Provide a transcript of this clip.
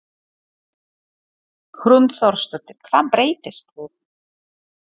Hrund Þórsdóttir: Hvað breyttist?